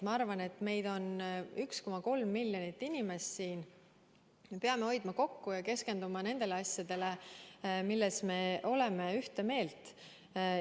Ma arvan, et meid on siin 1,3 miljonit inimest, me peame hoidma kokku ja keskenduma asjadele, milles me oleme ühte meelt.